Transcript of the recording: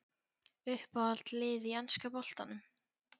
Uppáhald lið í enska boltanum?